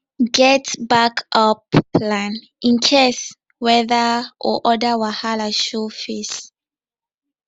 get backup plan in case weather or other wahala show face